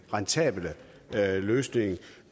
rentable løsning